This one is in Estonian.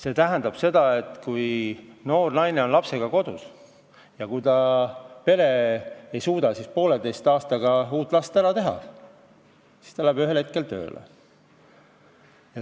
See tähendab, et kui noor naine on lapsega kodus ja pere ei suuda poolteise aastaga uut last ära teha, siis naine läheb ühel hetkel tööle.